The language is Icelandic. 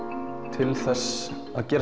til þess að gera